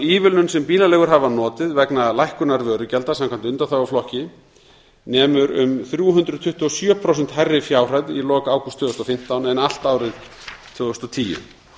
ívilnun sem bílaleigur hafa notið vegna lækkunar vörugjalda samkvæmt undanþáguflokki nemur um þrjú hundruð tuttugu og sjö prósent hærri fjárhæð í lok ágúst tvö þúsund og fimmtán en allt árið tvö þúsund og tíu